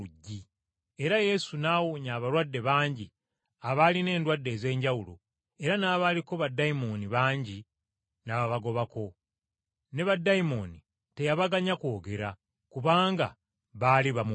Era Yesu n’awonya abalwadde bangi abaalina endwadde ez’enjawulo era n’abaaliko baddayimooni bangi n’ababagobako, ne baddayimooni teyabaganya kwogera, kubanga baali bamumanyi.